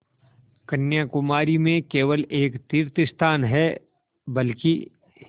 कन्याकुमारी में केवल एक तीर्थस्थान है बल्कि